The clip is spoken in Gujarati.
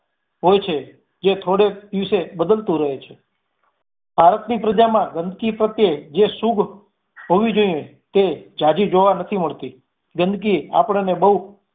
હોય છે, જે થોડેક દિવસે બદલતુ રહે છે ભારત ની પ્રજામા ગંદકી પ્રતેય જે સુજ હોવી જોઈએ તે ઝાઝી જોવા નથી મળતી ગંદકી આપણને બહુ